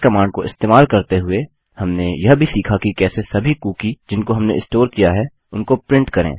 इस कमांड को इस्तेमाल करते हुए हमने यह भी सीखा कि कैसे सभी कुकी जिनको हमने स्टोर किया है उनको प्रिंट करें